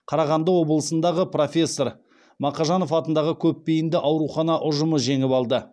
қарағанды облысындағы профессор мақажанов атындағы көпбейінді аурухана ұжымы жеңіп алды